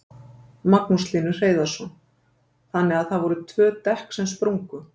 Magnús Hlynur Hreiðarsson: Þannig að það voru tvö dekk sem sprungu?